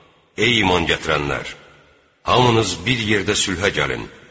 Ey iman gətirənlər, hamınız bir yerdə sülhə gəlin!